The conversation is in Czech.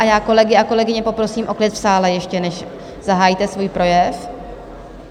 A já kolegy a kolegyně poprosím o klid v sále, ještě než zahájíte svůj projev.